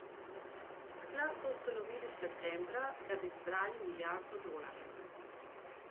Sklad so ustanovili septembra, da bi zbrali milijardo dolarjev.